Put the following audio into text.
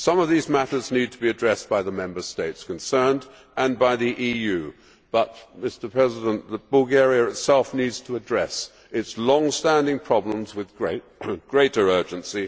Some of these matters need to be addressed by the Member States concerned and by the EU but, Mr President, Bulgaria itself needs to address its long standing problems with greater urgency.